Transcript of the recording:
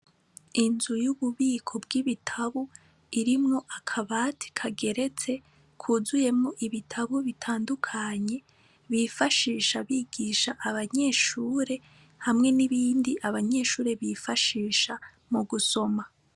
Inzu y'ububiko bw'ibitabu irimwo akabati kageretse kuzuyemo ibitabu bitandukanye bifashisha bigisha abanyeshure hamwe n'ibindi abanyeshure bifashisha mu gusoma.